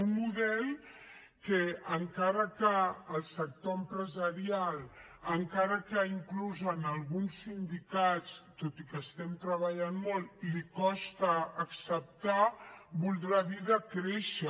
un model que encara que el sector empresarial encara que inclús en alguns sindicats tot i que hi estem treballant molt li costa acceptar voldrà dir decréixer